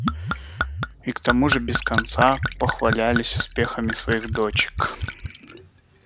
и к тому же без конца похвалялись успехами своих дочек